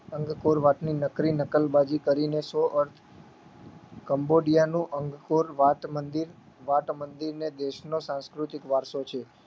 અંક કોર વાતની નકરી નકલબાજી કરીને સો અર્થ કંબોડીયાનું અંગકોર વાત મંદિર વાટ મંદિરને દેશનો સાંસ્કૃતિક વારસો છે